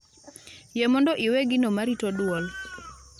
yie mondo iwe gino ma rito dwol